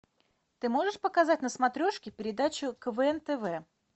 ты можешь показать на смотрешке передачу квн тв